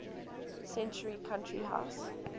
century country house